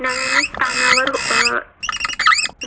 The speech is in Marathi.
नव्याने स्थानावर अं